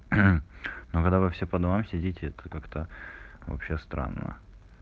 когда ну когда вы все по домам сидеть это как-то вообще странно